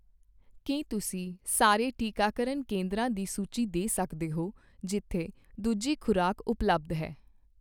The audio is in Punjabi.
ਕੀ ਤੁਸੀਂ ਸਾਰੇ ਟੀਕਾਕਰਨ ਕੇਂਦਰਾਂ ਦੀ ਸੂਚੀ ਦੇ ਸਕਦੇ ਹੋ ਜਿੱਥੇ ਦੂਜੀ ਖ਼ੁਰਾਕ ਉਪਲਬਧ ਹੈ?